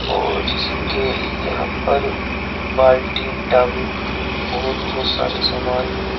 और जैसे के यहां पर बाल्टी टब और बहुत सारे सामान है।